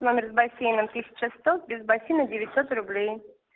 номер с бассейном тысяча сто без бассейна девятьсот рублей